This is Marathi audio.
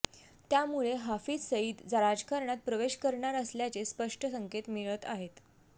त्यामुळे हाफिज सईद राजकारणात प्रवेश करणार असल्याचे स्पष्ट संकेत मिळत आहेत